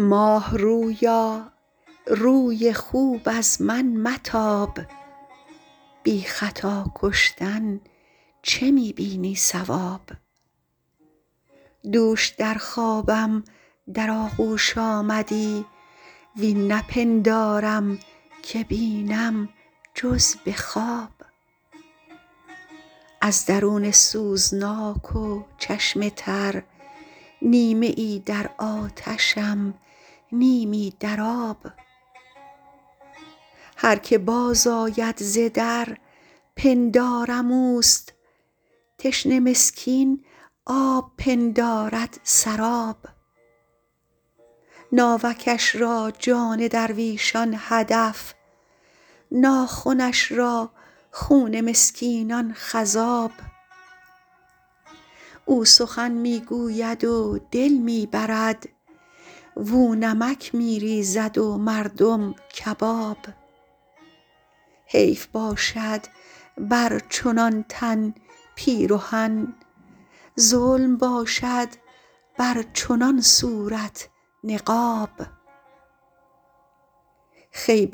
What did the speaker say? ماه رویا روی خوب از من متاب بی خطا کشتن چه می بینی صواب دوش در خوابم در آغوش آمدی وین نپندارم که بینم جز به خواب از درون سوزناک و چشم تر نیمه ای در آتشم نیمی در آب هر که باز آید ز در پندارم اوست تشنه مسکین آب پندارد سراب ناوکش را جان درویشان هدف ناخنش را خون مسکینان خضاب او سخن می گوید و دل می برد واو نمک می ریزد و مردم کباب حیف باشد بر چنان تن پیرهن ظلم باشد بر چنان صورت نقاب خوی